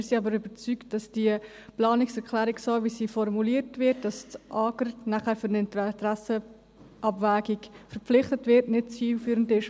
Wir sind aber überzeugt, dass die Planungserklärung, wie sie formuliert ist, wonach das AGR für eine Interessenabwägung verpflichtet wird, nicht zielführend ist.